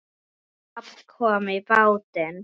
En babb kom í bátinn.